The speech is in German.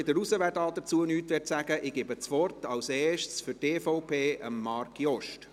Die anderen – wer dazu nichts sagen möchte – entfernen ihre Namen wieder von der Liste.